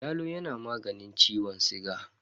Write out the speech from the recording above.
Yalo yana maganin ciwon siga.